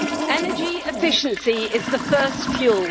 Energy efficiency is the first fuel.